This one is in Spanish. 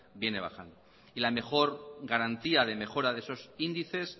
viene bajando y la mejor garantía de mejora de esos índices